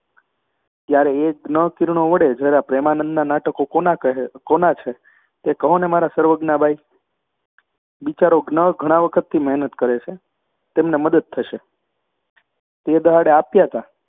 ત્યારે એ જ્ઞ કિરણો વડે જરા પ્રેમાનંદનાં નાટકો કોનાં કહે કોના છે તે કહો ને મારાં સર્વજ્ઞા બાઈ બિચારો જ્ઞ ઘણા વખતથી મહેનત કરે છે, તેમને મદદ થશે તે દહાડે આપ્યાં તા